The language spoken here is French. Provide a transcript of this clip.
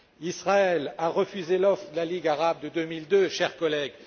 Israël a refusé l'offre de la Ligue arabe de 2002, chers collègues!